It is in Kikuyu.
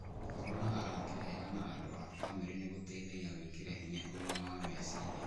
Gũkorũo na arata ega na andũ a bamĩrĩ nĩ gũteithagia gwĩkĩra hinya ũgima wa meciria.